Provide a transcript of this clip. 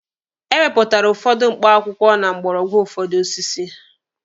Ewepụtara ụfọdụ mkpọakwụkwọ na mgbọrọgwụ ụfọdụ osisi.